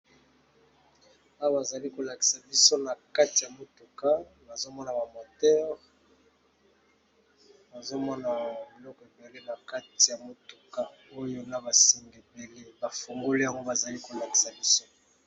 Awa bazali kolakisa biso na kati ya motuka bazomona bamoteure bazomona biloko ebele na kati ya motuka oyo na basengebele bafungole yango bazali kolakisa biso.